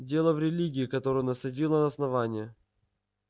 дело в религии которую насадило на основание